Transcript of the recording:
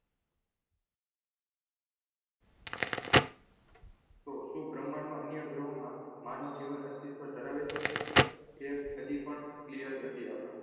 તો શુ બ્રહ્માંડમાં અન્ય ગ્રહોમાં માનવજીવન અસ્તિત્વ ધરાવે છે એ હજી પણ clear નથી આપણા માં